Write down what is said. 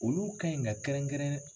Olu ka ɲi ka kɛrɛn kɛrɛn